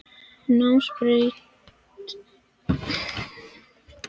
Námsbraut í hjúkrunarfræði við Háskóla Íslands.